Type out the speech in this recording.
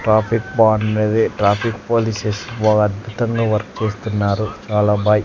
Traffic బావుండేది traffic polices బాగా అద్భుతంగా వర్క్ చేస్తున్నారు చాలా బాయ్.